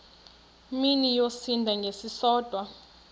mini yosinda ngesisodwa